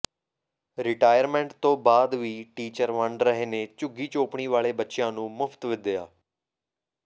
retirement ਤੋਂ ਬਾਅਦ ਵੀ ਟੀਚਰ ਵੰਡ ਰਹੇ ਨੇ ਝੁੱਗੀ ਚੋਪੜੀ ਵਾਲੇ ਬੱਚਿਆਂ ਨੂੰ ਮੁਫ਼ਤ ਵਿੱਦਿਆ